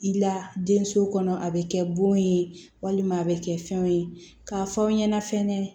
I la den so kɔnɔ a bɛ kɛ bon ye walima a bɛ kɛ fɛnw ye k'a fɔ aw ɲɛna fɛnɛ